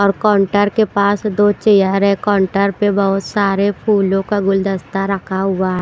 और काउंटर के पास दो चेयर है काउंटर पर बहुत सारे फूलों का गुलदस्ता रखा हुआ है।